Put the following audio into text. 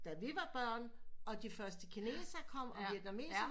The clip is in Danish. Da vi var børn og de første kinesere kom og vietnameserne